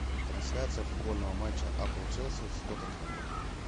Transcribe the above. трансляция футбольного матча апл челси с тоттенхэмом